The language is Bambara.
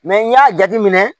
n y'a jate minɛ